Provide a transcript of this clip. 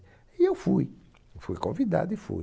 E eu fui, fui convidado e fui.